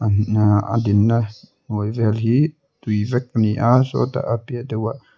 a dinna hnuai vel hi tui vek ani a sawtah a piah deuhah.